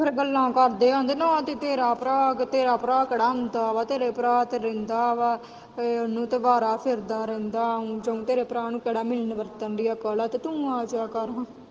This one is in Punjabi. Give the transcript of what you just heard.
ਫੇਰ ਗੱਲਾਂ ਕਰਦੇ ਨਾ ਤੇ ਤੇਰਾ ਭਰਾ ਨਾ ਤੇਰਾ ਕਿਹੜਾ ਆਉਂਦਾ ਵਾਂ ਤੇਰਾ ਭਰਾ ਤੇ ਰੰਡਾ ਵਾਂ ਉਹਨੂੰ ਤੇ ਅਵਾਰਾ -ਫਿਰਦਾ ਵਾਂ ਤੇਰੇ ਭਰਾ ਨੂੰ ਕਿਹੜਾ ਮਿਲਣ ਵਰਤਣ ਦੀ ਅਕਲ ਏ ਤੂੰ ਆ ਜਾਇਆ ਕਰ ਹਾਂ।